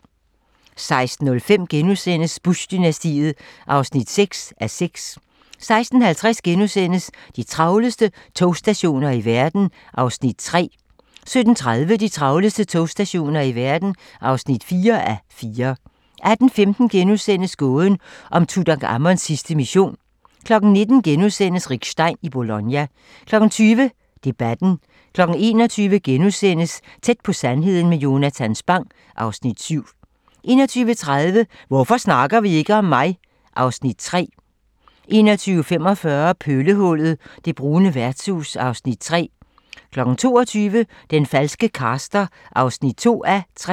16:05: Bush-dynastiet (6:6)* 16:50: De travleste togstationer i verden (3:4)* 17:30: De travleste togstationer i verden (4:4) 18:15: Gåden om Tutankhamons sidste mission * 19:00: Rick Stein i Bologna * 20:00: Debatten 21:00: Tæt på sandheden med Jonatan Spang (Afs. 7)* 21:30: Hvorfor snakker vi ikke om mig? (Afs. 3) 21:45: Pøllehullet - det brune værtshus (Afs. 3) 22:00: Den falske caster (2:3)